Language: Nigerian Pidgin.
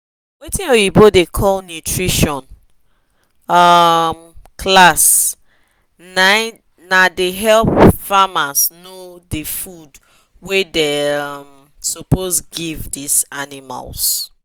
watin oyibo da call nutrition um class na da help farms know the food wa da um suppose give this animals